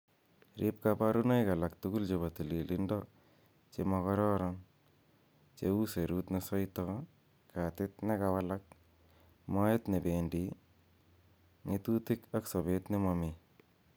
Riib koborunoik alak tugul chebo tililindo che mokoroon, cheu serut nesoito, katit nekang'walak, moet nebendii, ng'etutik ak sobet nemomii.